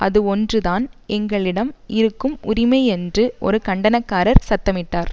அது ஒன்று தான் எங்களிடம் இருக்கும் உரிமை என்று ஒரு கண்டனக்காரர் சத்தமிட்டார்